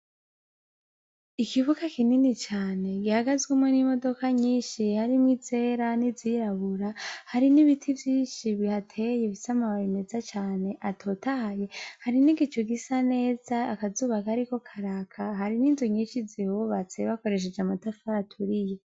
Ikibuga kinini cane gihagazwemo n'imodoka nyinshi hari mw ‘izera nizirabura hari n'ibiti vyinshi bihateye bifis ‘amababi meza cane atotahaye hari n'igicu gisa neza akazubaka kariko karaka hari n'inzu nyinshi zihubatse bakoresheje amatafara aturiye